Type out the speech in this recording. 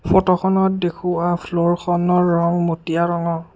ফটোখনত দেখুওৱা ফ্ল'ৰখনৰ ৰং মটীয়া ৰঙৰ।